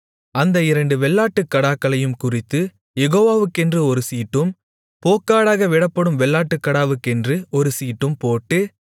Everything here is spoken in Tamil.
அந்த இரண்டு வெள்ளாட்டுக்கடாக்களையும் குறித்துக் யேகோவாக்கென்று ஒரு சீட்டும் போக்காடாக விடப்படும் வெள்ளாட்டுக்கடாவுக்கென்று ஒரு சீட்டும் போட்டு